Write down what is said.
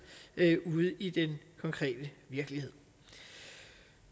ude i den konkrete virkelighed